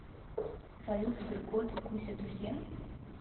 салют сберкот и куся друзья